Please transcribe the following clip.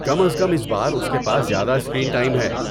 کم از کم اس بار اس کے پاس زیادہ اسکرین ٹائم ہے۔